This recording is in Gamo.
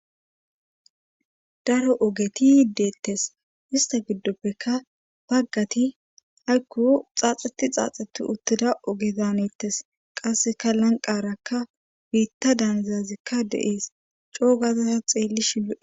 Daro ogeti deettes istta giddopekka baggatia aykko xaaxetti uttida oge daanettees qasseka lanqqarakka biitta daanizayssuka de7ees co7u ta xeelishinlo.